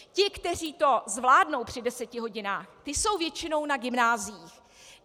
Ti, kteří to zvládnou při deseti hodinách, ti jsou většinou na gymnáziích.